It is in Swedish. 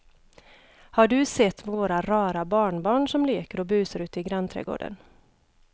Har du sett våra rara barnbarn som leker och busar ute i grannträdgården!